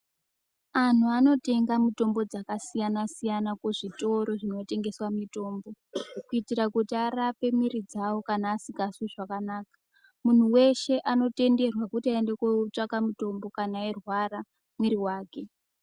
Anhu anotenga mitombo dzakasiyana siyana kuzvitoro zvinotengesa mitombo kuitira kuti arape mwiri dzawo kana asikazwi zvakanaka .Munhu weshe anotenderwa kuti aende kootsvaka mutombo kana eirwara mwiri wake.